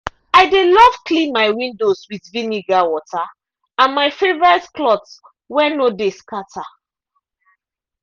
i dey love clean my windows with vinegar water and my favourite cloth wey no de scatter.